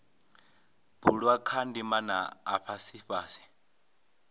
bulwa kha ndimana afha fhasi